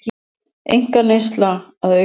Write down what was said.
Einkaneysla að aukast